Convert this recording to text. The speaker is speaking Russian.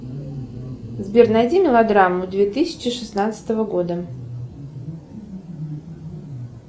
сбер найди мелодраму две тысячи шестнадцатого года